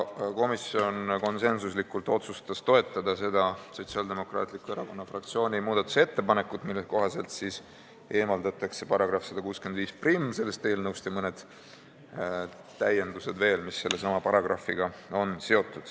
Komisjon otsustas konsensuslikult toetada Sotsiaaldemokraatliku Erakonna fraktsiooni muudatusettepanekut, mille kohaselt jäetakse eelnõust välja § 1651 ja veel mõned täiendused, mis on seotud sellesama paragrahviga.